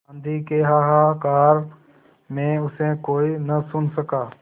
आँधी के हाहाकार में उसे कोई न सुन सका